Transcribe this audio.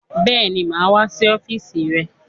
Bẹ́ẹ̀ni, mà á wá sí ọ́fíísì rẹ.